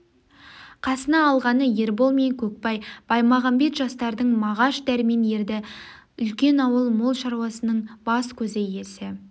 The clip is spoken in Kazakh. қасына алғаны ербол мен көкбай баймағамбет жастардан мағаш дәрмен ерді үлкен ауыл мол шаруаның бас-көзі иесі